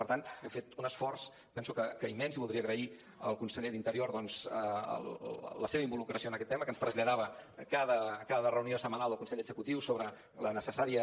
per tant hem fet un esforç penso que immens i voldria agrair al conseller d’interior doncs la seva involucració en aquest tema que ens traslladava a cada reunió setmanal del consell executiu sobre la necessària